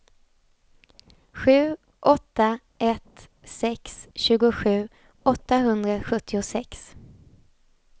sju åtta ett sex tjugosju åttahundrasjuttiosex